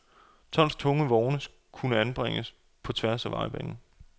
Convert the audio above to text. Tonstunge vogne kunne anbringes på tværs af vejbanen.